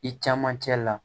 I caman cɛ la